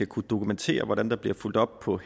kunne dokumentere hvordan der bliver fulgt op på